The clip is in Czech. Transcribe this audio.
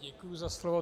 Děkuji za slovo.